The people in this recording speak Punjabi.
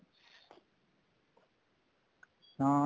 ਹਾਂ